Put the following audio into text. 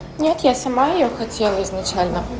нет я сама её хотела изначально